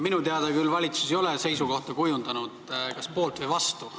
Minu teada ei ole valitsus küll kujundanud seisukohta kas poolt või vastu.